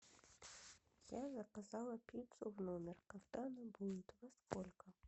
я заказала пиццу в номер когда она будет во сколько